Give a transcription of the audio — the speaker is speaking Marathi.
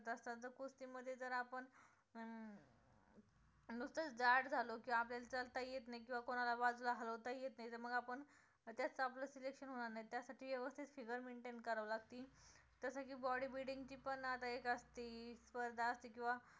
नुसतं च जाड झालो की आपल्याला चालता येत नाही किंवा कोणाला बाजूला हलवता येत नाही तर मग आपण त्यात आपलं selection होणार नाही. त्यासाठी व्यवस्थित figure maintain करावं लागते जसं की body building ची पण आता एक असती स्पर्धा असती किंवा